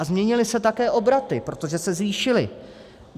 A změnily se také obraty, protože se zvýšily.